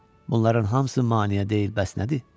Bunların hamısı maneə deyil bəs nədir?